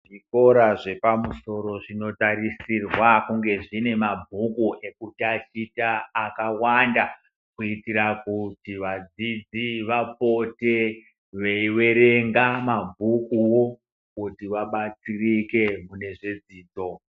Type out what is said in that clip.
Zvikora zvepamusoro zvinotarisirwa kunge zvine mabhuku ekutatia akawanda kuitira kuti vadzidzi vapote veiwerenga mabhukuwo kuti vabatsirike mune zvedzidzo